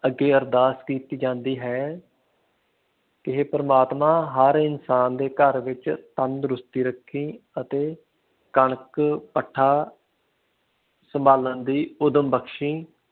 ਅੱਗੇ ਅਰਦਾਸ ਕੀਤੀ ਜਾਂਦੀ ਹੈ ਕਿ ਹੇ ਪਰਮਾਤਮਾ ਹਰ ਇਨਸਾਨ ਦੇ ਘਰ ਵਿਚ ਤੰਦਰੁਸਤੀ ਰੱਖੀ ਅਤੇ ਕਣਕ, ਭੱਠਾ ਸੰਭਾਲਣ ਦੀ ਉਦਮ ਬਖਸ਼ੀ